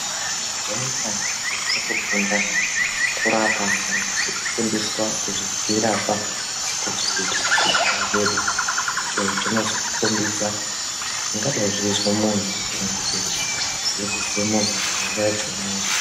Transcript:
Mazuwa anaa vanthu votofunda kurapa kana kuti kufundiswa kudzirapa pachivhiti-vhiti chidoodori, icho chizokukhombidza zvingadai zveizwe munthu, kana kuti zvinozwe munthu panguwa yachona iyoyo.